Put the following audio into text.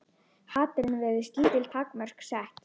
Hatrinu virðast lítil takmörk sett.